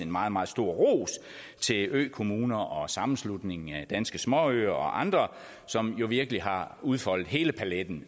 meget meget stor ros til økommuner og sammenslutningen af danske småøer og andre som jo virkelig har udfoldet hele paletten